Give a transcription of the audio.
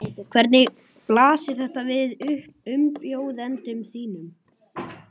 Hvernig blasir þetta við umbjóðendum þínum?